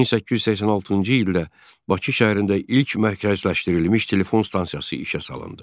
1886-cı ildə Bakı şəhərində ilk mərkəzləşdirilmiş telefon stansiyası işə salındı.